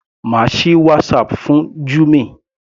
Má sì WhatsApp fún Jummy.